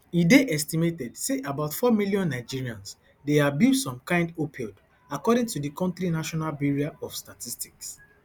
e dey estimated say about four million nigerians dey abuse some kain opioid according to di kontri national bureau of statistics